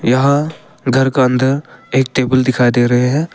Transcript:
यहां घर का अंदर एक टेबल दिखाई दे रहे हैं।